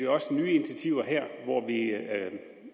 også nye initiativer her hvor vi